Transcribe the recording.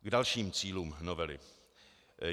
K dalším cílům novely.